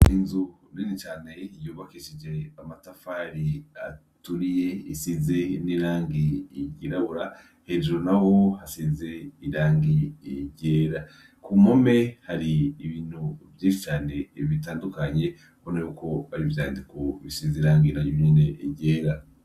Inzu nini cane yubakishije amatafari aturiye isize n'irangi ryirabura, hejuru naho hasize irangi ryera. Ku mpome hari ibintu vyinshi cane bitandukanye ubona yuko ari ivyandiko bisize irangi naryo nyene ryera.